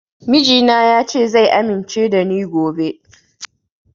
Mijina ya ce zai amince da ni gobe